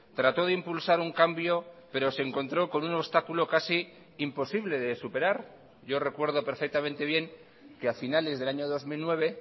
trató de impulsar un cambio pero se encontró con un obstáculo casi imposible de superar yo recuerdo perfectamente bien que a finales del año dos mil nueve